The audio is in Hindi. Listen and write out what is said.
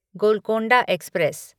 गोलकोंडा एक्सप्रेस